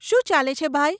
શું ચાલે છે ભાઈ?